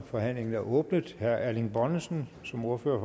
forhandlingen er åbnet herre erling bonnesen som ordfører